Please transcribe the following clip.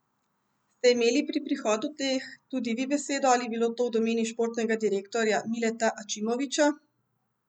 Ste imeli pri prihodu teh tudi vi besedo ali je bilo to v domeni športnega direktorja Mileta Ačimovića?